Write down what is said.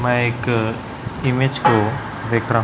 मैं एक इमेज को देख रहा--